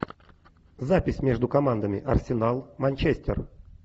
запись между командами арсенал манчестер